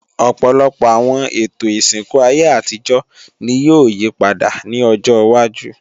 Ọ̀pọ̀lọpọ̀ àwọn ètò ìsìnkú ayé àtijọ́ ni yóò yípadà ní ọjọwájú